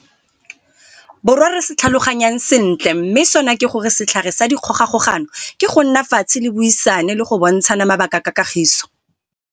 Borwa re se tlhaloganyang sentle mme sona ke gore setlhare sa dikgogakgogano ke go nna fatshe le buisane le go bontshana mabaka ka kagiso.